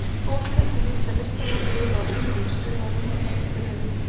Fólk heldur víst að listamenn lifi á engu, skrifar hún í einu bréfinu.